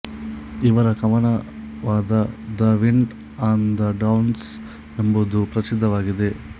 ಇವರ ಕವನವಾದ the wind on the downs ಎಂಬುದು ಪ್ರಸಿದ್ಧವಾಗಿದೆ